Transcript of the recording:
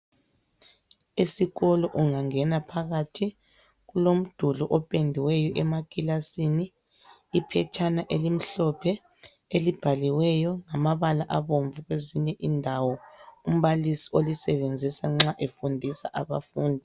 Esikolo ungangena phakathi kulomduli opendiweyo emakilasini. Iphetshana elimhlophe elibhaliweyo ngamabala abomvu kwezinye indawo umbalisi olisebenzisa nxa efundisa abafundi.